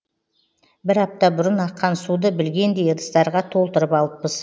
бір апта бұрын аққан суды білгендей ыдыстарға толтырып алыппыз